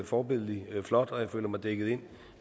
forbilledlig flot og jeg føler mig dækket ind